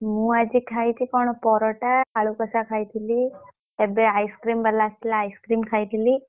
ମୁଁ ଆଜି ଖାଇଛି କଣ ପରଟା ଆଳୁ କଶା ଖାଇଥିଲି ଏବେ ice cream ବାଲା ଆସିଥିଲା ice cream ଖାଇଥିଲି।